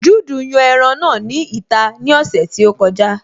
Juudu yan ẹran náà ní ìta ní ọ̀sẹ̀ tí ó kọjá